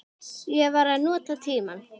Ég var að nota tímann.